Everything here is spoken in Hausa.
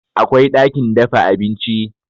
Akwai ɗakin dafa abinci